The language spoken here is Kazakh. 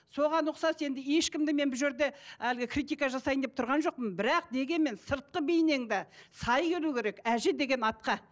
соған ұқсас енді ешкімді мен бұл жерде әлгі критика жасайын деп тұрған жоқпын бірақ дегенмен сыртқы бейнең де сай келу керек әже деген атқа